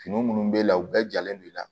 Fini minnu b'e la u bɛɛ jalen do i la